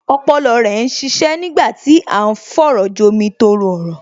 Ọpọlọ rẹ ń ṣiṣẹ́ nígbà tí à ń fọ̀rọ̀jomi-tooro-ọ̀rọ̀